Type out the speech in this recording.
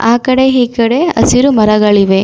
ಆ ಕಡೆ ಈ ಕಡೆ ಹಸಿರು ಮರಗಳಿವೆ.